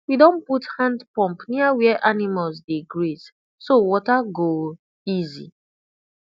we don put hand pump near where animals dey graze so water go easy